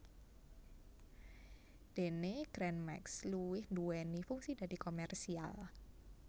Dene Gran Max luwih nduwéni fungsi dadi komersial